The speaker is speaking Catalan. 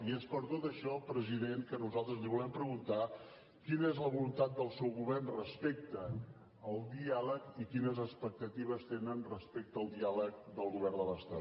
i és per tot això president que nosaltres li volem preguntar quina és la voluntat del seu govern respecte al diàleg i quines expectatives tenen respecte al diàleg del govern de l’estat